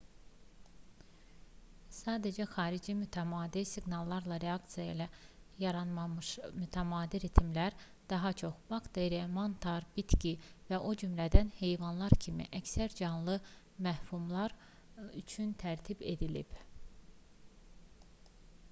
sadəcə xarici mütəmadi siqnallara reaksiya ilə yaranmamış mütəmadi ritmlər daha çox bakteriya mantar bitki və o cümlədən heyvanlar kimi əksər canlı məfhumlar üçün tərtib edilib